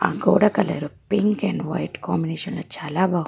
ఆ గోడ colour pink and white combination లో చాలా బాగుంది.